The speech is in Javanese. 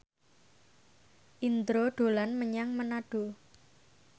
Indro dolan menyang Manado